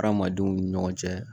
Hadamadenw ni ɲɔgɔn cɛ